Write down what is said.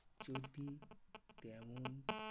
যদি তেমন কিছু